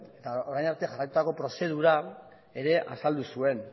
eta orain arte jarraitutako prozedura ere azaldu zuen